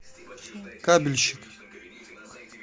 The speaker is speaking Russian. кабельщик